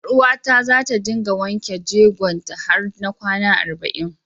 Ƴaruwata za ta dinga wanken jegon ta har na kwana arba'in.